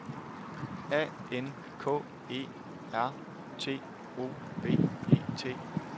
A N K E R T O V E T